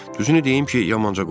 Düzünü deyim ki, yamanca qorxdum.